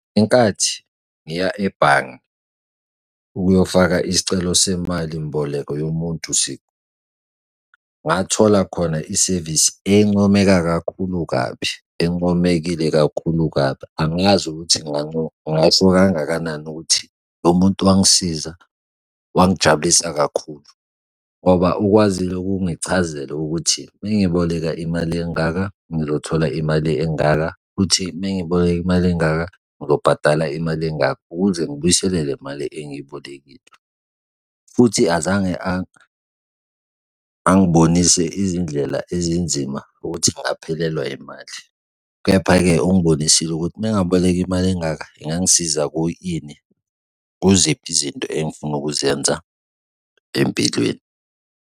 Inkathi ngiya ebhange, ukuyofaka isicelo semalimboleko yomuntu siqu. Ngathola khona isevisi encomeka kakhulu, kabi encomekile kakhulu kabi angazi ukuthi ngingasho kangakanani ukuthi lo muntu wangisiza wangijabulisa kakhulu ngoba ukwazile ukungichazela ukuthi uma ngiboleka imali engaka ngizothola imali engaka futhi mengiboleka imali engaka ngizobhadala imali engaka ukuze ngibuyisele le mali engiyibolekile. Futhi azange angiboni izindlela ezinzima ukuthi ngingaphelelwa imali. Kepha-ke ungbonisile ukuthi uma ngaboleka imali engaka ingangisiza kuyini, kuziphi izinto engifuna ukuzenza empilweni.